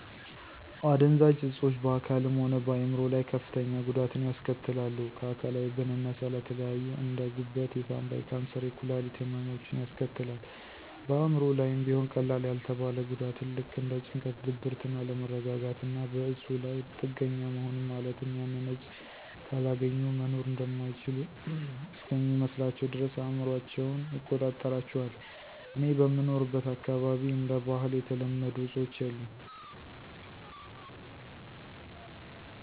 አደንዛዥ እፆች በአካልም ሆነ በአይምሮ ላይ ከፍተኛ ጉዳትን ያስከትላሉ። ከአካላዊ ብንነሳ ለተለያዩ እንደ፦ ጉበት፣ የሳንባ፣ የካንሰር፣ የኩላሊት ህመሞችን ያስከትላል። በአእምሮ ላይም ቢሆን ቀላል ያልተባለ ጉዳትን ልክ እንደ ጭንቀት፣ ድብርትን፣ አለመረጋጋትና በእፁ ላይ ጥገኛ መሆንን ማለትም ያንን እፅ ካላገኙ መኖር እማይችሉ እስከሚመስላቸው ድረስ አእምሯቸውን ይቆጣጠራቸዋል። እኔ በምኖርበት አካባቢ እንደ ባህል የተለመዱ አፆች የሉም።